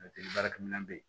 baarakɛminɛn bɛ yen